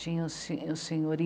Tinha o Sen... o Senhor